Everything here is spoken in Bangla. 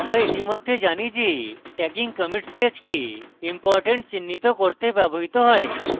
আমরা ইতিমধ্যে জানি যে tagging commit stage কে ইম্পরট্যান্ট চিহ্নিত করতে ব্যবহৃত হয়